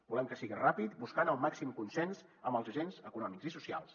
volem que sigui ràpid buscant el màxim consens amb els agents econòmics i socials